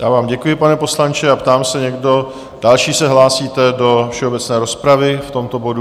Já vám děkuji, pane poslanče, a ptám se, někdo další se hlásíte do všeobecné rozpravy v tomto bodu?